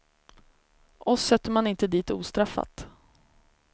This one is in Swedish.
Oss sätter man inte dit ostraffat.